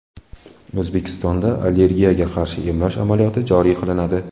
O‘zbekistonda allergiyaga qarshi emlash amaliyoti joriy qilinadi.